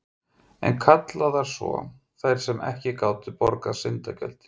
Enn kallaðar svo, þær sem ekki gátu borgað syndagjöldin.